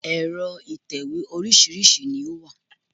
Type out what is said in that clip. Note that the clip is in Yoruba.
Ẹ̀rọ ìtẹ̀wé oríṣìíríṣìí ni ó wà